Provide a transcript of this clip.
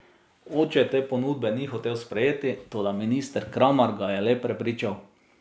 Oče te ponudbe ni hotel sprejeti, toda minister Kramar ga je le prepričal.